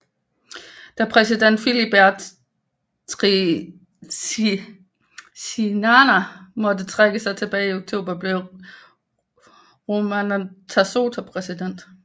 Da præsident Philibert Tsiranana måtte trække sig tilbage i oktober blev Ramanantsoa præsident